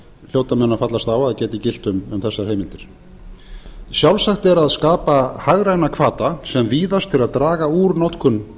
hljóta menn að fallast á að geti gilt um þessar heimildir sjálfsagt er að skapa hagræna hvata sem víðast til að draga úr notkun